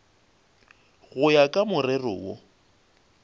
go ya ka morero wo